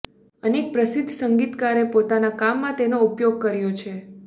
અનેક પ્રસિદ્ધ સંગીતકાર પોતાના કામમાં તેનો ઉપયોગ કર્યો છે